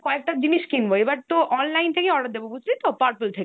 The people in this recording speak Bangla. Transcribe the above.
কয়েকটা জিনিস কিনবো। এবার তো online থেকে order দেবো বুঝলি তো? Purple থেকে।